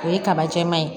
O ye kaba jɛman ye